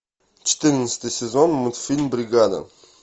четырнадцатый сезон мультфильм бригада